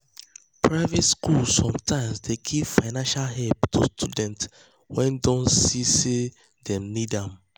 private schools sometimes dey give financial help to students wey dem don see say dem need am.